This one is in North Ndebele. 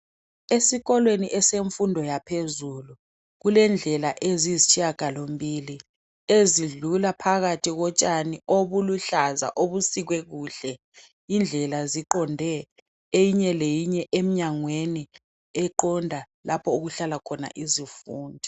Esikolweni semfundo yaphezulu kulendlela eziyisitshiyangalombili ezidlula phakathi kotshani obuluhlaza obusikwe kuhle. Indlela ziqonde eyinye leyinye emnyangweni eqonda lapho okuhlala khona izifundi.